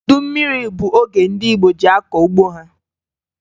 Udu mmiri bụ oge ndị Igbo ji akọ ugbo ha